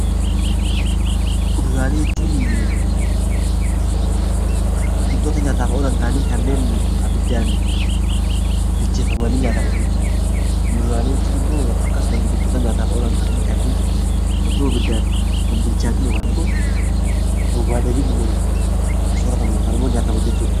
Kuduraalee jechuun biqiltoota nyaataaf oolan ta'anii kan abiddaan bilcheeffamanii nyaataman jechuudha. Muduraalee jechuun immoo akkasumas wantoota nyaataaf oolan ta'anii kanneen osoo abiddaan hin bilchaatiin yookaan immoo hin waadamiin soorataman yookiin nyaataman jechuudha.